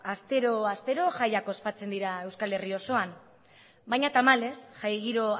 astero astero jaiak ospatzen dira euskal herri osoan baina tamalez jai giro